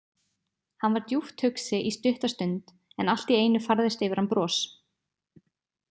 Hann var djúpt hugsi í stutta stund en allt í einu færðist yfir hann bros.